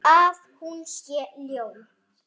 Finnst þau eitt.